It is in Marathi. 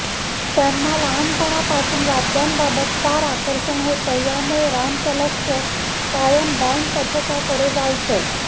त्यांना लहानपणापासून वाद्यांबाबत फार आकर्षण होतं यामुळे रामचं लक्ष कायम बॅंन्डपथकाकडे जायचं